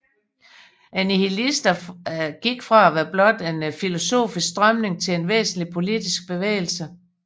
Nihilisterne gik fra at være blot en filosofisk strømning til en væsentlig politisk bevægelse